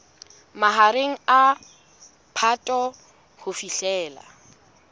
mahareng a phato ho fihlela